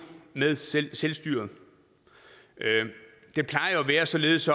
med selvstyret det plejer jo at være således